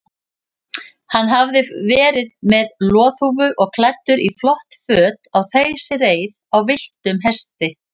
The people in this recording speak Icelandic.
Hann hafði verið með loðhúfu og klæddur í flott föt á þeysireið á villtum hesti.